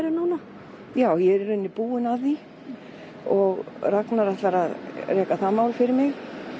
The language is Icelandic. núna já ég er í rauninni búin að því Ragnar ætlar að reka það mál fyrir mig